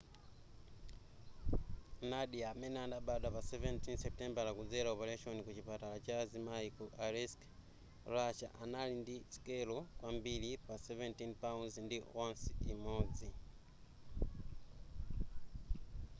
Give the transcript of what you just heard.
nadia amene anabadwa pa 17 supitembala kudzela opaleshoni ku chipatala cha azimai ku aleisk russia anali ndi sikelo kwambiri pa 17 pounds ndi ounce imodzi